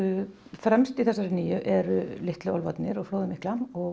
fremst í þessari nýju eru Litlu álfarnir og flóðið mikla og